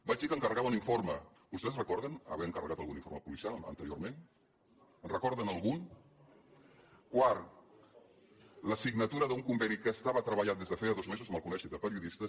vaig dir que encarregava un informe vostès recorden haver encarregat algun informe policial anteriorment en recorden algun quarta la signatura d’un conveni que estava treballat des de feia dos mesos amb el col·legi de periodistes